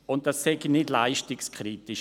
Und das sei nicht leistungskritisch.